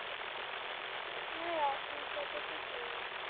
হ্যাঁ, রাফিজা কে তো চিনি।